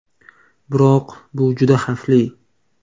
Biroq bu juda xavfli.